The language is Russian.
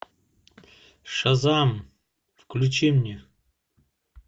шазам включи мне